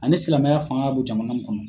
Ani silamɛya fanga ka don jamana nin kɔnɔ.